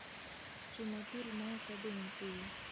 Jumapil ma ok odhi mapiyo,